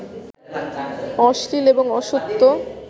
অশ্লীল এবং অসত্য